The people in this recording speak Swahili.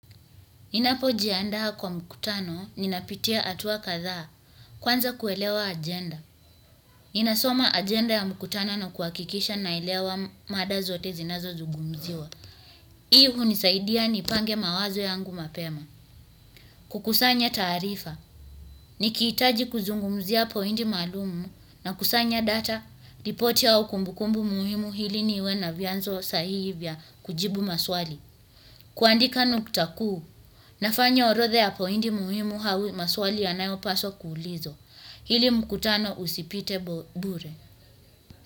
Ninapojiandaa kwa mkutano, ninapitia hatua kadhaa, kwanza kuelewa agenda. Ninasoma agenda ya mkutano na kuhakikisha naelewa mada zote zinazozungumziwa. Hii hunisaidia nipange mawazo yangu mapema. Kukusanya taarifa. Nikihitaji kuzungumzia poindi maslumu nakusanya data, ripoti au kumbukumbu muhimu ili niwe na vianzo sahihi vya kujibu maswali. Kuandika nukta kuu. Nafanya orodha ya pointi muhimu ama maswali yanayopaswa kuulizwa ili mkutano usipite bure.